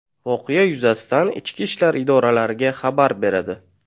voqea yuzasidan ichki ishlar idoralariga xabar beradi.